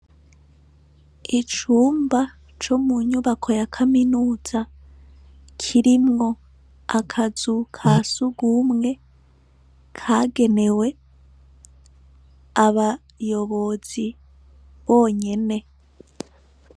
Icumba co munyubako ya kaminuza kirimwo akazu kasugwumwe kagenewe abayobozi bonyene.